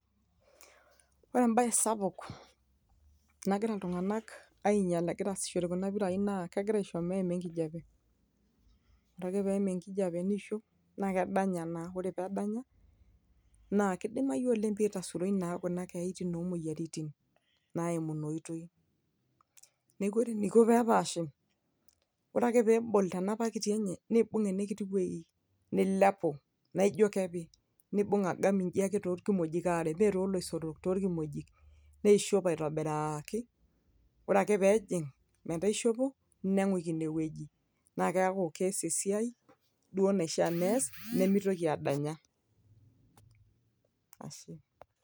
ore embaye sapuk nagira iltung'anak ainyial egira asishore kuna pirai naa kegira aisho meima enkijape ore ake peim enkijape niishop naa kedanya naaore pedanya naa kidimai oleng pitasuroi naa kuna keyaitin omoyiaritin naimu ina oitoi neeku ore eniko peepashi ore ake peebol tena pakiti enye nibung enekiti wueji nilepu naijo kepi nibung agam inji ake torkimojik aare mee toloisotok torkimojik neishop aitobiraki ore ake peejing metaa ishopo neng'uiki inewueji naa keeku kees esiai duo naishia nees nemitoki adanya ashe.